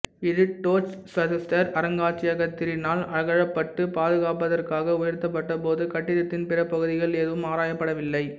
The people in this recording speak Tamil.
இது டோர்ச்செசுட்டர் அருங்காட்சியகத்தினரால் அகழப்பட்டு பாதுகாப்பதற்காக உயர்த்தப்பட்ட போதும் கட்டிடத்தின் பிற பகுதிகள் எதுவும் ஆராயப்படவில்லை